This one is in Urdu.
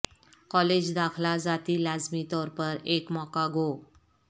کالج داخلہ ذاتی لازمی طور پر ایک موقع گو